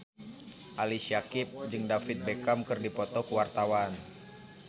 Ali Syakieb jeung David Beckham keur dipoto ku wartawan